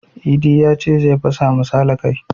Idi yace zai fasa ma sale kai